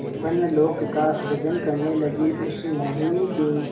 स्वप्नलोक का सृजन करने लगीउस मोहिनी के